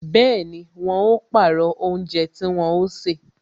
Bẹẹni, wọn ó pàrọ̀ oúnjẹ tí wọn ó ṣe